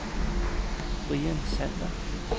Brian Sander